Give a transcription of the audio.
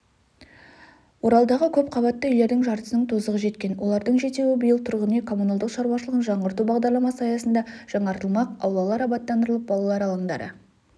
оралдағы көпқабатты үйлердің жартысының тозығы жеткен олардың жетеуі биыл тұрғын-үй коммуналдық шаруашылығын жаңғырту бағдарламасы аясында жаңартылмақ аулалар абаттандырылып балалар алаңдары